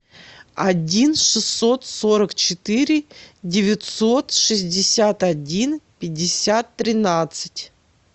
один шестьсот сорок четыре девятьсот шестьдесят один пятьдесят тринадцать